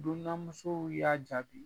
Dunanmusow y'a jaabi